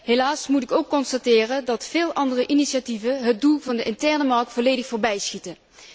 Helaas moet ik ook constateren dat veel andere initiatieven het doel van de interne markt volledig voorbijschieten.